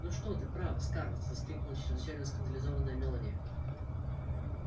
ну что ты право скарлетт воскликнула чрезвычайно скандализованная мелани